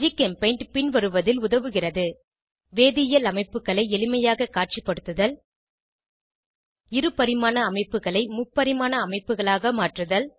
ஜிகெம்பெய்ண்ட் பின்வருவதில் உதவுகிறது வேதியியல் அமைப்புகளை எளிமையாக காட்சிப்படுத்துதல் இரு பரிமாண அமைப்புகளை முப்பரிமாண அமைப்புகளாக மாற்றுதல்